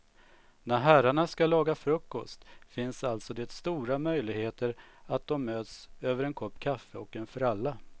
När herrarna ska laga frukost finns alltså det stora möjligheter att de möts över en kopp kaffe och en fralla.